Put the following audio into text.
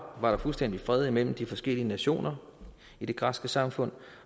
var der fuldstændig fred mellem de forskellige nationer i det græske samfund